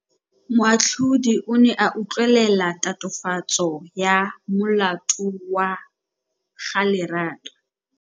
Moatlhodi o ne a utlwelela tatofatsô ya molato wa Lerato.